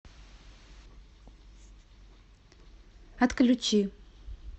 отключи